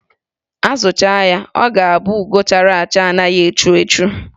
A zụchaa ya, ọ ga-abụ ugo chara acha na-adịghị echu echu.